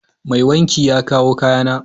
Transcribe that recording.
Mai wanki ya kawo kayana.